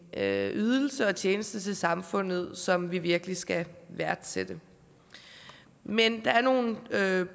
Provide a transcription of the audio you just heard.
ydelse og tjeneste til samfundet som vi virkelig skal værdsætte men der er nogle